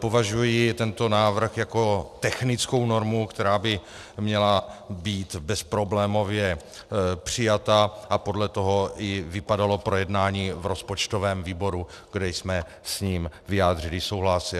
Považuji tento návrh jako technickou normu, která by měla být bezproblémově přijata, a podle toho i vypadalo projednání v rozpočtovém výboru, kde jsme s ním vyjádřili souhlas.